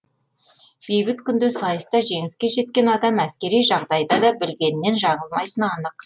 бейбіт күнде сайыста жеңіске жеткен адам әскери жағдайда да білгенінен жаңылмайтыны анық